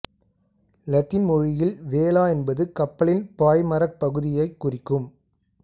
இலத்தீன் மொழியில் வேலா என்பது கப்பலின் பாய்மரப் பகுதியைக் குறிக்கும்